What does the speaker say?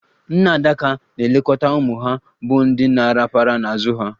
Nne adaka na-elekọta ụmụ ha, bụ ndị na-arapara n'azụ ha.